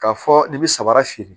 K'a fɔ i bi samara feere